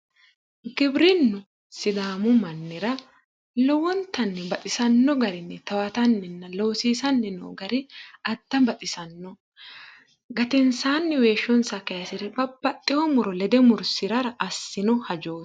Giwirinnu sidaamu mannira lowontanni baxisanno garinni towatanninna loosiisanni noo gari adda baxisanno. Gatensaanni weeshshonsa kayise babbaxxitino muro lede mursirara assino hajooti